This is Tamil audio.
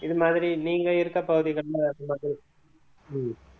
இது மாதிரி நீங்க இருக்க பகுதிகள்ல அதுமாதிரி உம்